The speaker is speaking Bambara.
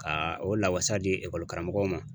Ka o lawasa di ekɔli karamɔgɔw ma